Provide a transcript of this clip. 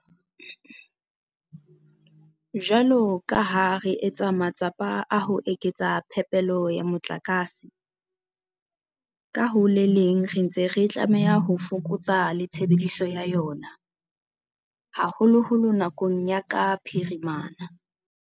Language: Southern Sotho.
Jwalo ka ha re etsa matsapa a ho eketsa phepelo ya motlakase, ka ho le leng re ntse re tlameha ho fokotsa le tshebediso ya ona, haholoholo nakong ya ka phirimana.